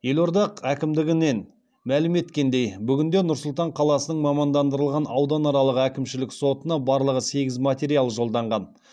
елорда әкімдігінен мәлім еткендей бүгінде нұр сұлтан қаласының мамандандырылған ауданаралық әкімшілік сотына барлығы сегіз материал жолданған